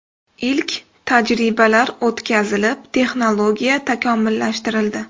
Ilk tajribalar o‘tkazilib, texnologiya takomillashtirildi.